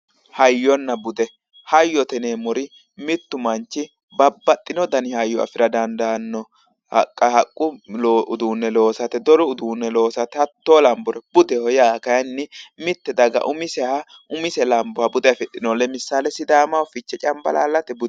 Hayyonna bude hayyote yineemmori mittu manchi Babbaxxino dani hayyo afira dandaanno haqqa haqqu uduunne loosate doru uduunne loosate hattoo lambore budeho yaa kayeenni mitte daga umise lamboha sidaamaho fichee cambalaallate bude